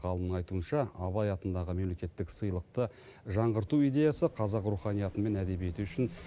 ғалымның айтуынша абай атындағы мемлекеттік сыйлықты жаңғырту идеясы қазақ руханияты мен әдебиеті үшін